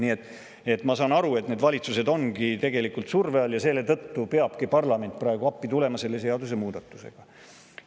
Nii et ma saan aru, et valitsused ongi tegelikult surve all, ja selle tõttu peabki parlament praegu neile selle seadusemuudatusega appi tulema.